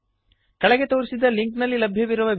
ಕೆಳಗೆ ತೋರಿಸಿದ ಲಿಂಕ್ನಲ್ಲಿ ಲಭ್ಯವಿರುವ ವೀಡಿಯೋವನ್ನು ನೋಡಿರಿ